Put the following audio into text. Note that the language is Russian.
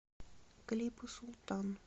клипы султан